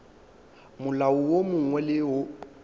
molao wo mongwe le wo